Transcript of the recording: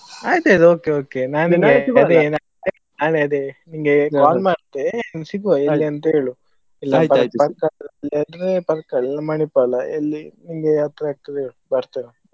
ಆಯ್ತಯ್ತು okay okay ನಾ ಅದೇ ನಿಂಗೆ call ಮಾಡ್ತೇ ಸಿಗುವ ಎಲ್ಲಿ ಅಂತ ಹೇಳು Parkala ಇಲ್ಲಾದ್ರೆ Manipal ಎಲ್ಲಿ ನಿಂಗೆ ಹತ್ರ ಆಗ್ತದೆ ಹೇಳು ಬರ್ತೇನೆ.